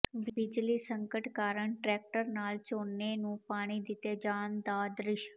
ਬਿਜਲੀ ਸੰਕਟ ਕਾਰਨ ਟਰੈਕਟਰ ਨਾਲ ਝੋਨੇ ਨੂੰ ਪਾਣੀ ਦਿੱਤੇ ਜਾਣ ਦਾ ਦ੍ਰਿਸ਼